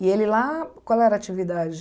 E ele lá, qual era a atividade?